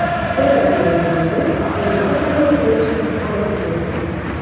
Ikkala darvozabonga o‘yin amaliyoti berishga qaror qilyapmiz.